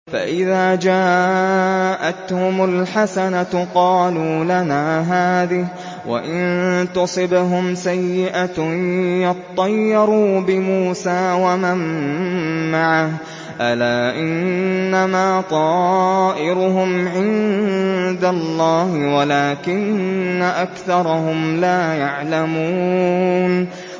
فَإِذَا جَاءَتْهُمُ الْحَسَنَةُ قَالُوا لَنَا هَٰذِهِ ۖ وَإِن تُصِبْهُمْ سَيِّئَةٌ يَطَّيَّرُوا بِمُوسَىٰ وَمَن مَّعَهُ ۗ أَلَا إِنَّمَا طَائِرُهُمْ عِندَ اللَّهِ وَلَٰكِنَّ أَكْثَرَهُمْ لَا يَعْلَمُونَ